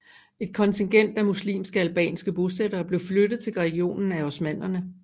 Et kontingent af muslimske albanske bosættere blev flyttet til regionen af osmannerne